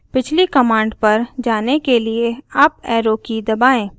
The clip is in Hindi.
पिछली कमांड पर जाने के लिए अप एरो की दबाएँ